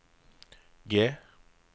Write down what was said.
G